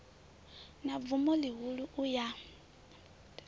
na bvumo ḽihulu u ya